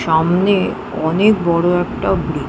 সামনে অনেক বড় একটা ব্রিজ ।